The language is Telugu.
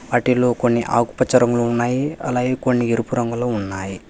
వాటిలో కొన్ని ఆకుపచ్చ రంగులో ఉన్నాయి అలాగే కొన్ని ఎరుపు రంగులో ఉన్నాయి.